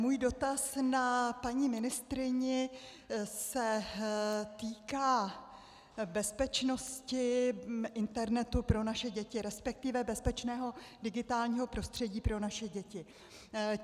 Můj dotaz na paní ministryni se týká bezpečnosti internetu pro naše děti, respektive bezpečného digitálního prostředí pro naše děti.